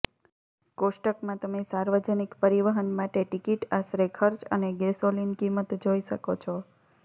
કોષ્ટકમાં તમે સાર્વજનિક પરિવહન માટે ટિકિટ આશરે ખર્ચ અને ગેસોલિન કિંમત જોઈ શકો છો